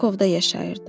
Krakovda yaşayırdım.